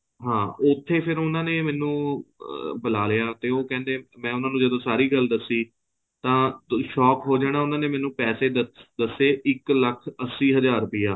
ਹਾਂ ਉੱਥੇ ਫੇਰ ਉਹਨਾਂ ਨੇ ਮੈਨੂੰ ਬੁਲਾਲਿਆ ਤੇ ਉਹ ਕਹਿੰਦੇ ਮੈਂ ਜਦੋਂ ਉਹਨਾਂ ਨੂੰ ਸਾਰੀ ਗੱਲ ਦੱਸੀ ਤਾਂ shock ਹੋ ਜਾਣਾ ਉਹਨਾਂ ਨੇ ਮੈਨੂੰ ਪੈਸੇ ਦੱਸੇ ਇੱਕ ਲੱਖ ਅੱਸੀ ਹਜਾਰ ਰੁਪੇ